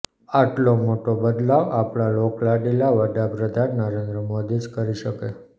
આટલો મોટો બદલાવ આપણા લોકલાડીલા વડાપ્રધાન નરેન્દ્ર મોદી જ કરી શકે